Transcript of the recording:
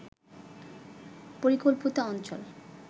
পরিকল্পিত অঞ্চল